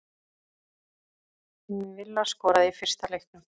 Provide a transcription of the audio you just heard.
Villa skoraði í fyrsta leiknum